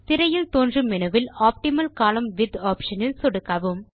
திரையில் தோன்றும் மெனுவில் ஆப்டிமல் கோலம்ன் விட்த் ஆப்ஷன் இல் சொடுக்கவும்